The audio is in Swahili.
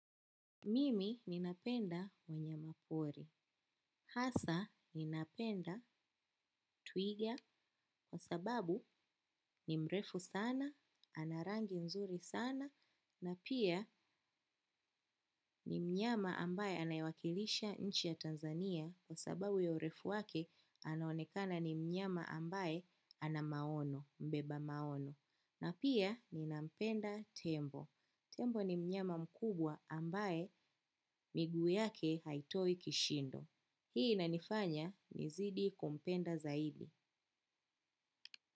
Mimi ninapenda wanyama pori. Hasa ninapenda twiga kwa sababu ni mrefu sana, ana rangi mzuri sana, na pia ni mnyama ambaye anayewakilisha nchi ya Tanzania kwa sababu ya urefu wake anaonekana ni mnyama ambaye ana maono, mbeba maono. Na pia ninampenda tembo. Tembo ni mnyama mkubwa ambaye miguu yake haitoi kishindo. Hii inanifanya nizidi kumpenda zaidi.